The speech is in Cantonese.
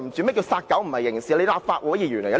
你說"殺狗不是刑事"，你是甚麼意思呢？